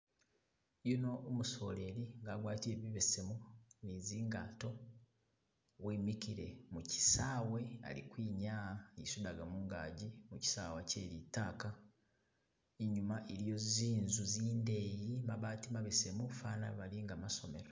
Uno umusoleli i'nga agwatile bibesemu, ni zingato wimikile mu kisaawe, ali kwinya'ha, isudaga mungaji mu kisaawa kyelitaaka, inyuma iliwo zinzu zindeyi mabati mabesemu, fana galinga masomelo